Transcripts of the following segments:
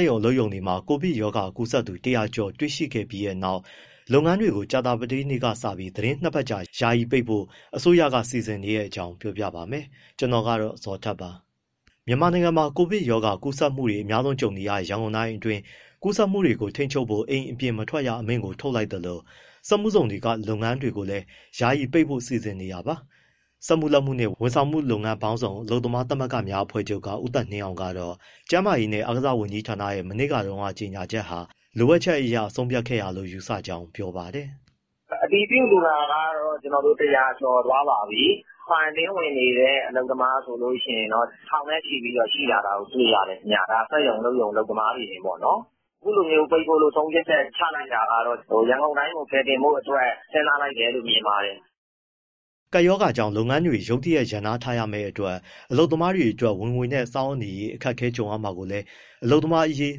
က်ရုံအလုပ်ရုံတွေမှာ ကိုဗစ်ရောဂါကူးစက်သူ ၁၀၀ ကျော်တွေ့ရှိခဲ့ပြီးနောက် လုပ်ငန်းတွေကို ကြာသပတေးနေ့က စပြီး သီတင်း ၂ ပတ်ကြာ ယာယီပိတ်ဖို့ အစိုးရက စီစဉ်နေတဲ့အကြောင်းကို ဗွီအိုအေမြန်မာပိုင်းသတင်းထောက် ကိုဇော်ထက်က ပြောပြပါမယ်။ မြန်မာနိုင်ငံမှာ ကိုဗစ်ရောဂါ ကူးစက်မှုတွေ အများဆုံးကြုံနေရတဲ့ ရန်ကုန်တိုင်းအတွင်း ကူးစက်မှုတွေကို ထိန်းချုပ်ဖို့ အိမ်ပြင်မထွက်ရ အမိန့်ထုတ်လိုက်သလို စက်မှုဇုန်တွေက လုပ်ငန်းတွေကိုလည်း ယာယီပိတ်ဖို့ စီစဉ်နေတာပါ။ စက်မှုလက်မှုနှင့် ဝန်ဆောင်မှုလုပ်ငန်း ပေါင်းစုံ အလုပ်သမားသမဂ္ဂများ အဖွဲ့ချုပ်က ဦးသက်နှင်းအောင်ကတော့ ကျန်းမာရေးနဲ့ အားကစားဝန်ကြီးဌာနရဲ့ မနေ့တုန်းက ကြေညာချက်ဟာ လိုအပ်ချက်အရ ဆုံးဖြတ်ခဲ့တာလို့ ယူဆကြောင်း ပြောပါတယ်။ “အတည်ပြုလူနာကတော့ ၁၀၀ ကျော်သွားပါပြီ၊ quarantine ဝင်နေတဲ့ အလုပ်သမားဆိုရင် ထောင်နဲ့ချီပြီး ရှိလာတာ တွေ့ရတယ်ခင်ဗျ။ ဒါ စက်ရုံ၊ အလုပ်ရုံ အလုပ်သမားတွေတင်ပေါ့နော်။ အခုလိုပိတ်ဖို့ ဆုံးဖြတ်ချက် ချလိုက်တာကတော့ ရန်ကုန်တိုင်းကို ကယ်တင်ဖို့အတွက် စဉ်းစားလိုက်တယ်လို့ မြင်ပါတယ်။” ကပ်ရောဂါကြောင့် လုပ်ငန်းတွေ ရုတ်တရက် ရပ်နားထားရမယ့်အတွက် အလုပ်သမားတွေအတွက် ဝင်ငွေနဲ့ စားဝတ်နေရေးအတွက် အခက်အခဲ ကြုံရမှာကိုလည်း အလုပ်သမားရေး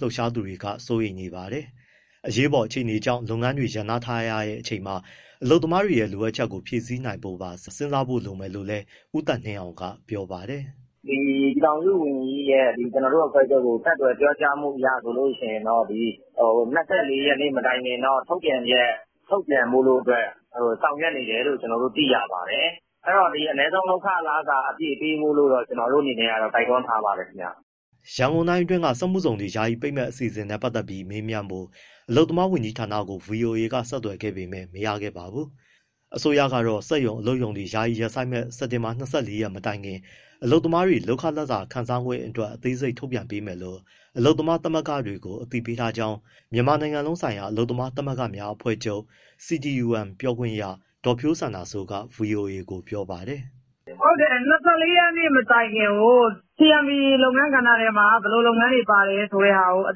လှုပ်ရှားသူတွေ စိုးရိမ်နေပါတယ်။ အရေးပေါ် အခြေအနေကြောင့် လုပ်ငန်းတွေ ရပ်နားထားရတဲ့ အချိန်မှာ အလုပ်သမားတွေရဲ့ လိုအပ်ချက်တွေကို ဖြည့်ဆည်းနိုင်ဖို့ပါ စဉ်းစားဖို့ လိုမယ်လို့လည်း ဦးသက်နှင်းအောင်က ပြောပါတယ်။ “ပြည်ထောင်စုဝန်ကြီး ကျနော်တို့ အဖွဲ့ချုပ်ကို ဆက်သွယ် ပြောကြားမှုအရဆိုရင် ၂၄ ရက်မတိုင်ခင်တော့ ထုတ်ပြန်ချက် ထုတ်ပြန်ဖို့ ဆောင်ရွက်နေတယ်လို့ သိရပါတယ်။ အဲဒီတော့ အနည်းဆုံးလုပ်ခလစာ အပြည့်ပေးဖို့တော့ ကျနော်တို့ အနေနဲ့ကတော့ တိုက်တွန်း ထားပါတယ်ခင်ဗျ။” ရန်ကုန်တိုင်းအတွင်း စက်မှုဇုန်တွေ ယာယီပိတ်မယ့် အစီအစဉ်နဲ့ ပတ်သက်ပြီး မေးမြန်းဖို့ အလုပ်သမားဝန်ကြီးဌာနကို ဗွီအိုအေက ဆက်သွယ်ခဲ့ပေမဲ့ မရခဲ့ပါဘူး။ အစိုးရကတော့ စက်ရုံ၊ အလုပ်ရုံတွေ ယာယီရပ်ဆိုင်းမယ့် စက်တင်ဘာ ၂၄ ရက်နေ့ မတိုင်ခင် အလုပ်သမားတွေ လုပ်ခလစာခံစားခွင့်အတွက် အသေးစိတ်ထုတ်ပြန်ပေးမယ်လို့ အလုပ်သမားသမဂ္ဂတွေကို အသိပေးထားကြောင်း မြန်မာနိုင်ငံလုံးဆိုင်ရာအလုပ်သမားသမဂ္ဂများအဖွဲ့ချုပ် CTUM ပြောခွင့်ရ ဒေါ်ဖြိုးစန္ဒာစိုးက ဗွီအိုအေကို ပြောပါတယ်။ “၂၄ ရက် မတိုင်ခင်ကို CMP (အထည်ချုပ်) လုပ်ငန်းကဏ္ဍထဲမှာ ဘယ်လိုလုပ်ငန်းတွေပါလဲဆိုတာကို အ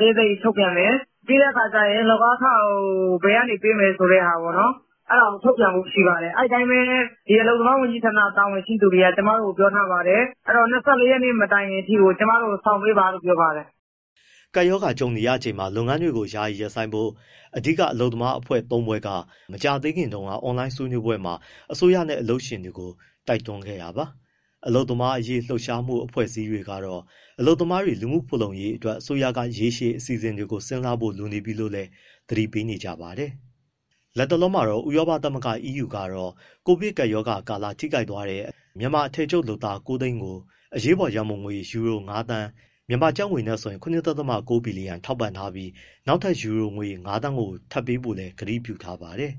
သေးစိတ်ထုတ်ပြန်မယ်၊ ပြီးတဲ့အခါကျရင် လုပ်အားခကို ဘယ်ကနေပေးမယ်ဆိုတဲ့ဟာကို အဲဒါကိုထုတ်ပြန်ဖို့ရှိပါတယ်၊ အဲဒီအတိုင်းပဲ အလုပ်သမားဝန်ကြီးဌာန တာဝန်ရှိသူတွေက ကျမတို့ကို ပြောထားပါတယ်။ အဲဒီတော့ ၂၄ ရက်မတိုင်ခင်အထိကို ကျမတို့ကို စောင့်ပေးပါလို့ ပြောပါတယ်။” ကပ်ရောဂါ ကြုံနေရချိန်မှာ လုပ်ငန်းတွေကို ယာယီရပ်ဆိုင်းဖို့ အဓိက အလုပ်သမားသမဂ္ဂ ၃ ဖွဲ့က မကြာသေးခင်တုန်းက အွန်လိုင်းဆွေးနွေးပွဲမှာ အစိုးရနဲ့ အလုပ်ရှင်တွေကို တိုက်တွန်းခဲ့တာပါ။ အလုပ်သမားရေး လှုပ်ရှားမှု အဖွဲ့အစည်းတွေကတော့ အလုပ်သမားတွေ လူမှုဖူလုံရေးအတွက် အစိုးရက ရေရှည်အစီအစဉ်တွေကို စဉ်းစားဖို့ လိုအပ်နေပြီလို့လည်း သတိပေးနေကြပါတယ်။ လတ်တလောမှာတော့ ဥရောပသမဂ္ဂ EU ကတော့ ကိုဗစ်ကပ်ရောဂါကာလ ထိခိုက်သွားတဲ့ မြန်မာ အထည်ချုပ်လုပ်သား ၉၀၀,၀၀၀ ကို အရေးပေါ်ရန်ပုံငွေ ယူရို ၅,၀၀၀,၀၀၀ (ကျပ်ငွေ ၇.၉ ဘီလီယံ) ထောက်ပံ့ထားပြီး နောက်ထပ် ယူရို ၅,၀၀၀,၀၀၀ ပေးဖို့လည်း ကတိပြုထားပါတယ်